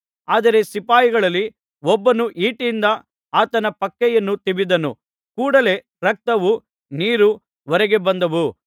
ಆದರೆ ಸಿಪಾಯಿಗಳಲ್ಲಿ ಒಬ್ಬನು ಈಟಿಯಿಂದ ಆತನ ಪಕ್ಕೆಯನ್ನು ತಿವಿದನು ಕೂಡಲೆ ರಕ್ತವೂ ನೀರೂ ಹೊರಗೆ ಬಂದವು